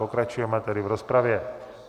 Pokračujeme tedy v rozpravě.